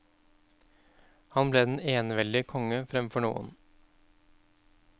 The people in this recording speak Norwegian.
Han ble den eneveldige konge framfor noen.